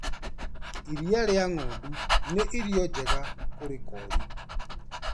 Iria rĩa ng'ondu nĩ irio njega kũrĩ koori.